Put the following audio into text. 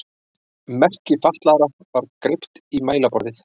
Merki fatlaðra var greypt í mælaborðið.